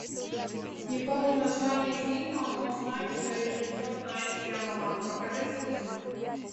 не помню название фильма но знаю что режиссер найт шьямалан покажи фильмы